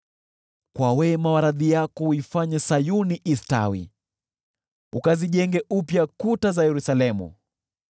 Kwa wema wa radhi yako uifanye Sayuni istawi, ukazijenge upya kuta za Yerusalemu.